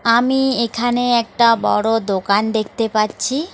আমি এখানে একটা বড় দোকান দেখতে পাচ্ছি। আমি এখানে একটা বড় দোকান দেখতে পাচ্ছি।